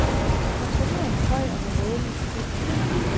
Kontrolløren er høj og med rødligt, strittende hår.